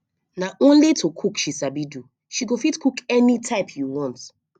na only to cook she sabi do she go fit cook any type you want